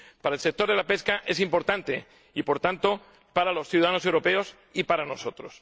Para el sector de la pesca es importante y, por tanto, para los ciudadanos europeos y para nosotros.